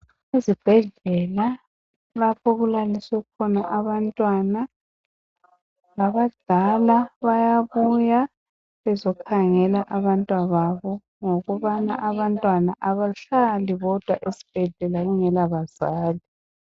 Izibhedlela lapho okulaliswe khona abantwana abadala bayabuya bezokhangela abantwababo ngokubana abantwana abahlala bodwa esibhedlela kungela bazali.